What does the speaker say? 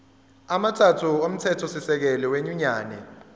amathathu omthethosisekelo wenyunyane